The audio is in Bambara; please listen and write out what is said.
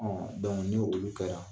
Ɔn ni olu kɛra